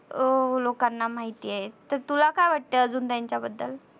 अं लोकांना माहितीय तर तुला काय वाटत आजून त्यांच्या बद्दल